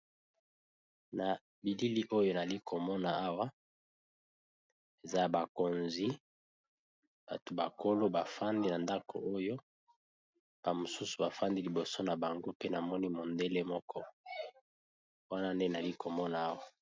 Na bilili oyo nali komona awa eza ya bakonzi, bato ba kolo bafandi na ndako oyo ba mosusu bafandi liboso na bango pe namoni mondele moko wana nde nali komona awa.